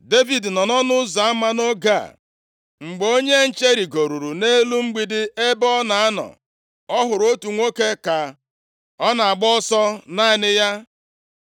Devid nọ nʼọnụ ụzọ ama nʼoge a. Mgbe onye nche rigoruru nʼelu mgbidi ebe ọ na-anọ, ọ hụrụ otu nwoke ka ọ na-agba ọsọ naanị ya.